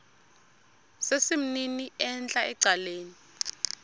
sesimnini entla ecaleni